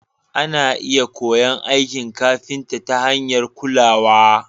ana iya koyon aikin kafinta ta hanyar kulawa.